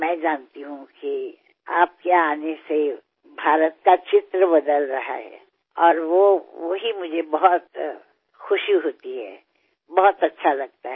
मला माहिती आहे की तुम्ही आल्यानंतर भारताचे चित्र बदलते आहे आणि मला त्यामुळे फार आनंद होतो फार छान वाटते